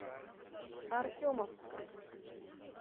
артемовском